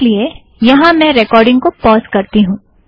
इस लिए यहाँ मैं रेकॉर्डिंग को पॉज़ करती हूँ